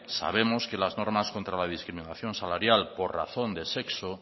sabemos que las normas contra la discriminación salarial por razón de sexo